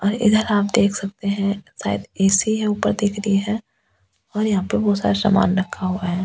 और इधर आप देख सकते है शायद एस_सी है ऊपर दिख रही है और यहाँ पे बहुत सारा सामान रखा हुआ है।